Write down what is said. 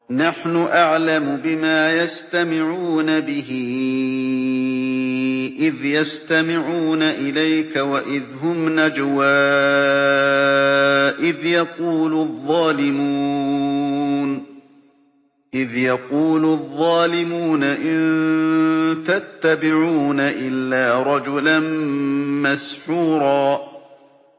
نَّحْنُ أَعْلَمُ بِمَا يَسْتَمِعُونَ بِهِ إِذْ يَسْتَمِعُونَ إِلَيْكَ وَإِذْ هُمْ نَجْوَىٰ إِذْ يَقُولُ الظَّالِمُونَ إِن تَتَّبِعُونَ إِلَّا رَجُلًا مَّسْحُورًا